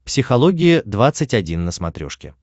психология двадцать один на смотрешке